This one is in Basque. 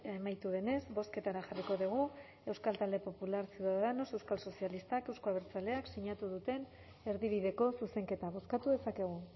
amaitu denez bozketara jarriko dugu euskal talde popular ciudadanos euskal sozialistak euzko abertzaleak sinatu duten erdibideko zuzenketa bozkatu dezakegu